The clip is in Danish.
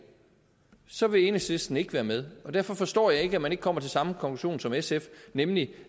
så vil enhedslisten ikke være med og derfor forstår jeg ikke at man ikke kommer til samme konklusion som sf nemlig